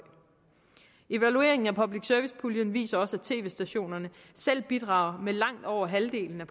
evalueringen af public service puljen viser også at tv stationerne selv bidrager med langt over halvdelen af